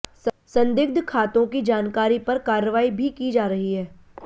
संदिग्ध खातों की जानकारी पर कार्रवाई भी की जा रही है